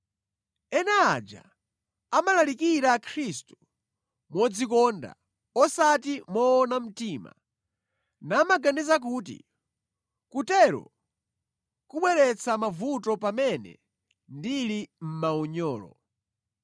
Ena aja amalalikira Khristu modzikonda osati moona mtima namaganiza kuti kutero kubweretsa mavuto pamene ndili mʼmaunyolo.